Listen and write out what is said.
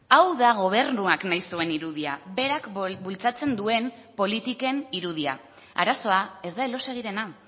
hau da gobernuak nahi zuen irudia berak bultzatzen duen politiken irudia arazoa ez da elóseguirena